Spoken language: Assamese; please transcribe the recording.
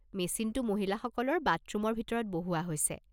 মেচিনটো মহিলাসকলৰ বাথৰুমৰ ভিতৰত বহুওৱা হৈছে।